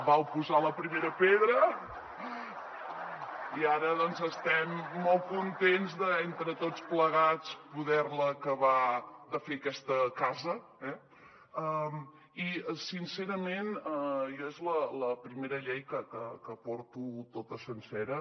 vau posar la primera pedra i ara doncs estem molt contents d’entre tots plegats poder la acabar de fer aquesta casa eh i sincerament jo és la primera llei que porto tota sencera